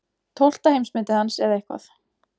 Tólfta heimsmetið hans eða eitthvað.